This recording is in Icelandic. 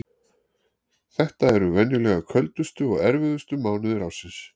Þetta eru venjulega köldustu og erfiðustu mánuðir ársins.